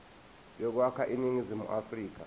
yokwakha iningizimu afrika